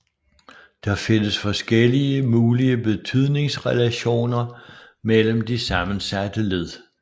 Der findes forskellige mulige betydningsrelationer mellem de sammensatte led